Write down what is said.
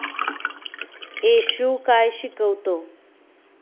येशू काय शिकवतो